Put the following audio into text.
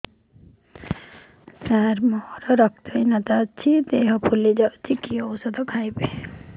ସାର ମୋର ରକ୍ତ ହିନତା ଅଛି ଦେହ ଫୁଲି ଯାଉଛି କି ଓଷଦ ଖାଇବି